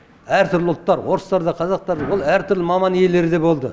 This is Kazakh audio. әртүрлі ұлттар орыстар да қазақтар да ол әртүрлі маман иелері де болды